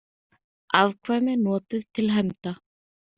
Afkvæmi notuð til hefnda.